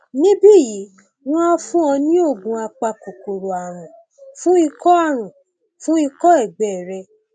níbí yìí wọn á fún ọ ní oògùn apakòkòrò ààrùn fún ikọ ààrùn fún ikọ ẹgbẹ rẹ